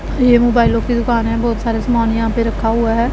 येह मोबाइलोंकी दुकान हैं बहुत सारा समान यहां पे रखा हुआ हैं।